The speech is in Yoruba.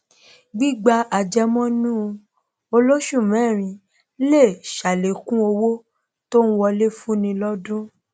gbígba àjẹmọnú olóṣùmẹrin lè sàlékún owó tó ń wọlé fúnni lọdún